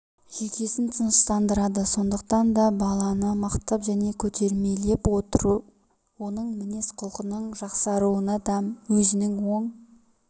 жүйкесін тыныштандырады сондықтан да баланы мақтап және көтермелеп отыру оның мінез-құлқының жақсаруына да өзінің оң